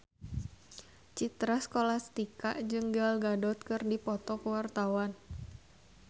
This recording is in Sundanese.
Citra Scholastika jeung Gal Gadot keur dipoto ku wartawan